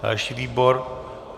Další výbor?